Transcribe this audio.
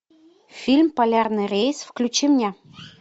фильм полярный рейс включи мне